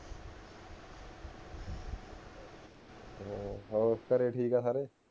ਹਾਂ ਹੋਰ ਘਰੇ ਠੀਕ ਆ ਸਾਰੇ